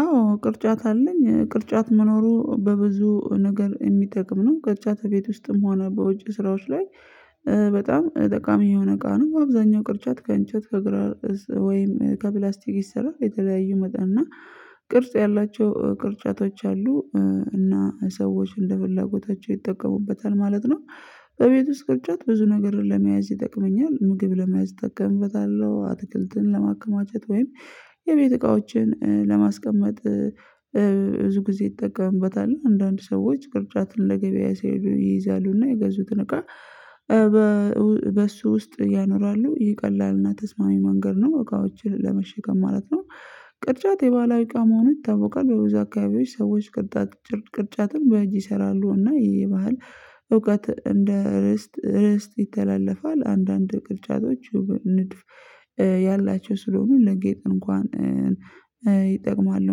አዎ ቅርጫት አለኝ። ቅርጫት መኖሩ በብዙ ነገር እሚጠቅም ነው። ቅርጫት እቤት ውስጥም ሆነ በውጭ ስራዎች ላይ እ በጣም ጠቃሚ የሆነ እቃ ነው። አብዛኛው ቅርጫት ከእንጨት፣ ከግራር እዝ፣ ወይም ከፕላስቲክ ይሰራል። የተለያዩ መጠን እና ቅርጽ ያላቸው እ ቅርጫቶች አሉ። እ እና ሰዎች እንደ ፍላጎታቸው ይጠቀሙበታል ማለት ነው። በቤት ውስጥ ቅርጫት ብዙ ነገርን ለመያዝ ይጠቅመኛል። ምግብ ለመያዝ እጠቀምበታለው። አትክልትን ለማከማቸት ወይም የቤት እቃዎችን እ ለማስቀመጥ እ እ ብዙ ጊዜ እጠቀምበታለው። አንዳንድ ሰዎች ቅርጫትን ለገበያ ሲሄዱ ይይዛሉ። እና የገዙትን እቃ እ በ በእሱ ውስጥ ያኖራሉ። ይህ ቀላልና ተስማሚ መንገድ ነው። እቃዎችን ለመሸከም ማለት ነው። ቅርጫት የባህላዊ እቃ መሆኑ ይታውቃል። በብዙ አካባቢዎች ሰዎች ቅርጣጭር ቅርጫትን በእጅ ይሰራሉ። እና ይሄ የባህል እውቀት እንደ እርስት እርስት ይተላለፋል። አንዳንድ ቅርጫቶች እው ንድፍ እ ያላቸው ስለሆኑ ለጌጥ እንኳን እ እ ይጠቅማሉ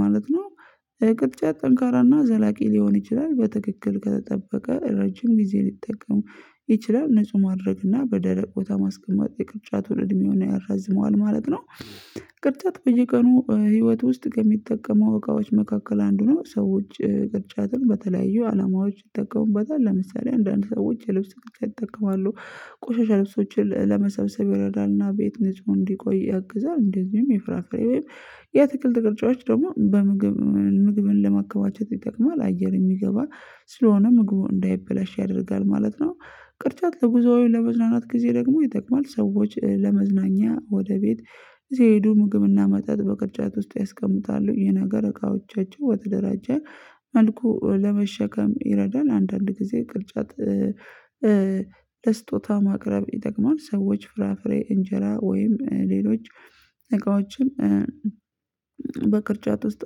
ማለት ነው። ኧ ቅርጫት ጠንካራና ዘላቂ ሊሆን ይችላል። በትክክል ከተጠበቀ ረጅም ጊዜ ሊጠቀሙ ይችላል። ንጹህ ማድረግ እና በደረቅ ቦታ ማስቀመጥ የቅርጫቱን እድሜውን ያራዝመዋል ማለት ነው። ቅርጫት በየቀኑ ኧ ሂይወት ውስጥ ከሚጠቀው እቃዎች መካከል አንዱ ነው። ሰዎች ኧ ቅርጫትን በተለያዩ አላማዎች ይጠቀሙበታል። ለምሳሌ አንዳንድ ሰዎች የልብስ ቅርጫት ይጠቀማሉ። ቆሻሻ ልብሶችን ለመሰብሰብ ይረዳልና ቤት ነፁ እንዲቆይ ያግዛል። እንደዚሁም የፍራፍሬ ያትክልት ቅርጫዎች ደግሞ በምግብ ምግብን ለማከባቸት ይጠቅማል። አየር የሚገባ ስለሆነ ምግቡ እንዳይበላሽ ያደርጋል ማለት ነው። ቅርጫት ለጉዞ ወይ ለመዝናናት ጊዜ ደግሞ ይጠቅማል። ሰዎች ለመዝናኛ ወደ ቤት ሲሄዱ ምግብና መጠጥ በቅርጫት ውስጥ ያስቀምጣሉ። ይህ ነገር እቃዎቻቸው ወተደራጀ መልኩ ኧ ለመሸከም ይረዳል። አንዳንድ ጊዜ ቅርጫት ኧ ኧ ለስጦታ ማቅረብ ይጠቅማል። ሰዎች ፍራፍሬ፣ እንጀራ ወይም ሌሎች እቃዎችን በቅርጫት ውስጥ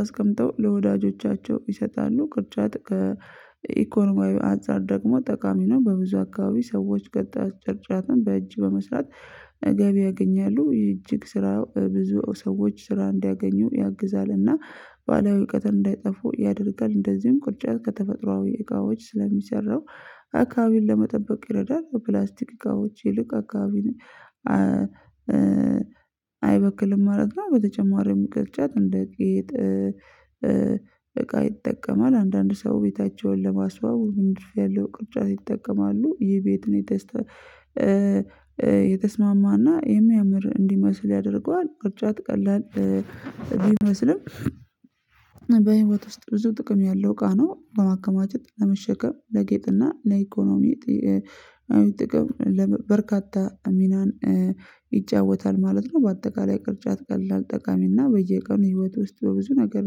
አስቀምጠው ለወዳጆቻቸው ይሰጣሉ። ቅርጫት ከኢኮኖሚያዊ አንፃር ደግሞ ጠቃሚ ነው። በብዙ አካባቢ ሰዎች ቀጥያ ጭርጫትን በእጅ በመስራት ገቢ ያገኛሉ። እጅግ ስራ ብዙ ሰዎች ስራ እንዲያገኙ ያግዛል። እና ባላዊ እውቀትን እንዳይጠፉ ያደርጋል። እንደዚም ቅርጫት ከተፈጥሯዊ እቃዎች ስለሚሰራ አካባቢን ለመጠበቅ ይረዳል። ፕላስቲክ እቃዎች ይልቅ አካባቢ ኧኧ አይበክልም ማለት ነው። በተጨማሪም ቅርጫት እንደ ጌጥ እ እ እቃ ይጠቀማል። አንዳንድ ሰው ቤታቸውን ለማስዋብ ንድፍ ያለው ቅርጫት ይጠቀማሉ። ይህ ቤት የተስ ኧ የተስማማና የሚያምር እንዲመስል ያደርገዋል። ቅርጫት ቀላል ኧ ቢመስልም በህይወት ውስጥ ብዙ ጥቅም ያለው እቃ ነው። በማከማቸት፣ ለመሸከም፣ ለጌጥና ለኢኮኖሚ ጢ ኧ አዊ ጥቅም በርካታ ሚናን ኧ ይጫወታል ማለት ነው። ባጠቃላይ ቅርጫት ቀላል፣ ጠቃሚ እና በየቀኑ ህይወት ውስጥ በብዙ ነገር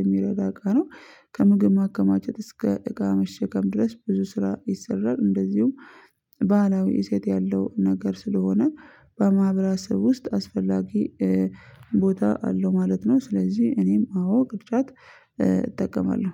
የሚረዳ እቃ ነው። ከምግብ ማከማቸት እስከ እቃ መሸከም ድረስ ብዙ ስራ ይሰራል። እንደዚሁም ባእላዊ እሴት ያለው ነገር ስለሆነ በማህበራሰብ ውስጥ አስፈላጊ እ ቦታ አለው ማለት ነው። ስለዚህ እኔም አዎ ቅርጫት እ እጠቀማለሁ።